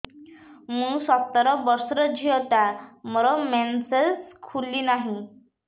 ମୁ ସତର ବର୍ଷର ଝିଅ ଟା ମୋର ମେନ୍ସେସ ଖୁଲି ନାହିଁ